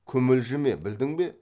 күмілжіме білдің бе